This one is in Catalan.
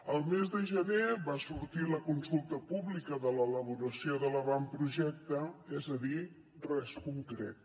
el mes de gener va sortir la consulta pública de l’elaboració de l’avantprojecte és a dir res concret